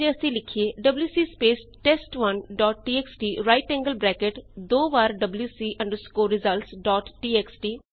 ਇਸਦੀ ਬਜਾਏ ਜੇ ਅਸੀਂ ਲਿਖੀਏ ਡਬਲਯੂਸੀ ਸਪੇਸ ਟੈਸਟ1 dot TXT right angled bracket twice WC underscore results dot txt